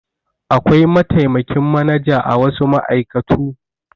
Akwai mataimakin manaja a wasu ma'aikatu.